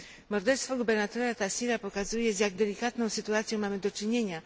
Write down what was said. Morderstwo gubernatora Taseera pokazuje, z jak delikatną sytuacją mamy do czynienia.